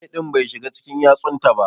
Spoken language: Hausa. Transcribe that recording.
Zobe din Bai shiga cikin yatsun taba.